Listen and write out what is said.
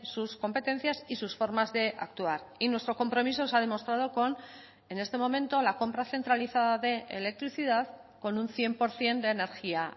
sus competencias y sus formas de actuar y nuestro compromiso se ha demostrado con en este momento la compra centralizada de electricidad con un cien por ciento de energía